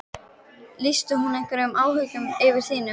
Lýsti hún einhverjum áhyggjum yfir því?